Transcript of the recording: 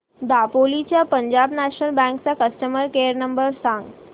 दापोली च्या Punjab National Bank चा customer care number सांग